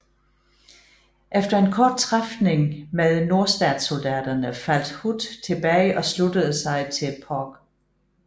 Efter en kort træfning med nordstatssoldaterne faldt Hood tilbage og sluttede sig til Polk